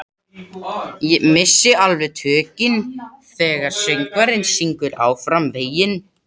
Missi alveg tökin þegar söngvarinn syngur Áfram veginn.